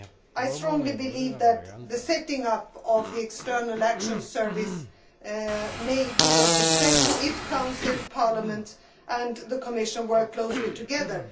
I strongly believe that the setting up of the External Action Service can be a success if Council, Parliament and the Commission work closely together.